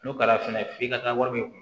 N'o kɛra fɛnɛ f'i ka taa wari min